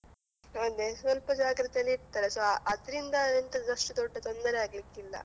ಅದೇ ಸ್ವಲ್ಪ ಜಾಗೃತೇಲಿರ್ತಾರೆ so ಅದ್ರಿಂದ ಎಂತ ಅಷ್ಟು ದೊಡ್ಡ ತೊಂದ್ರೆ ಆಗ್ಲಿಕ್ಕಿಲ್ಲ.